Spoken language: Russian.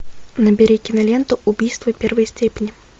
набери киноленту убийство первой степени